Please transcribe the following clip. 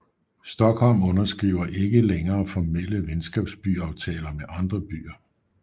Stockholm underskriver ikke længere formelle venskabsbyaftaler med andre byer